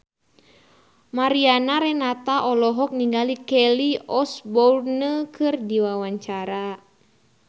Mariana Renata olohok ningali Kelly Osbourne keur diwawancara